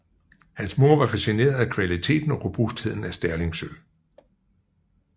Hans mor var facineret af kvaliteten og robustheden af Sterlingsølv